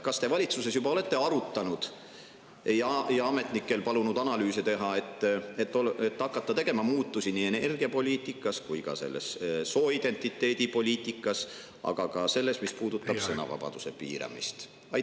Kas te valitsuses olete arutanud seda ja palunud ametnikel analüüse teha, et saaks hakata tegema muudatusi nii energiapoliitikas kui ka sooidentiteedipoliitikas, aga ka selles, mis puudutab sõnavabaduse piiramist?